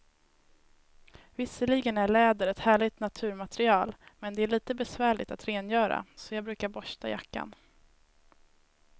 Visserligen är läder ett härligt naturmaterial, men det är lite besvärligt att rengöra, så jag brukar borsta jackan.